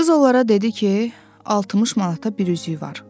Qız onlara dedi ki, 60 manata bir üzüyü var.